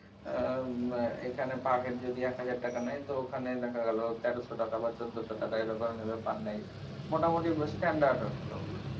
আহ এখানে per head যদি এক হাজার টাকা নেয় তাহলে ওখানে দেখা গেলো তেরশো টাকা বা চোদ্দশো টাকা এরকমই নেবে per night মোটামটি standard hotel ওগুলো।